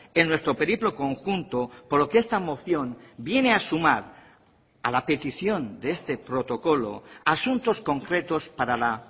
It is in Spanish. en nuestro periplo conjunto por lo que esta moción viene a sumar a la petición de este protocolo asuntos concretos para la